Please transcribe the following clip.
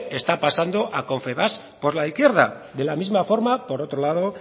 está pasando a confebask por la izquierda de la misma forma por otro lado